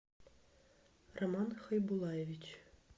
роман хайбулаевич